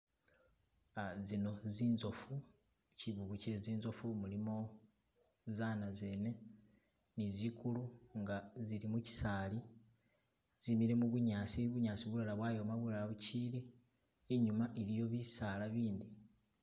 Zino zinzofu chivuvu kye zinzofu mulimo zana zene ni zikulu nga zili muchisaali zimile mubunyasi bunyasi bulala bwayom bulala buchili inyuma iliyo bisaala bindi.